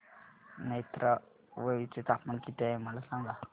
नेत्रावळी चे तापमान किती आहे मला सांगा